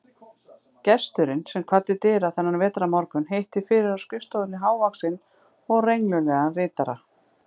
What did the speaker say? Gesturinn, sem kvaddi dyra þennan vetrarmorgun, hitti fyrir á skrifstofunni hávaxinn og renglulegan ritara